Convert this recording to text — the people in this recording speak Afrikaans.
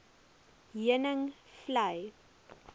heuningvlei